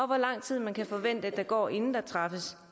hvor lang tid man kan forvente der går inden der træffes